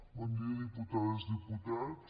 bon dia diputades diputats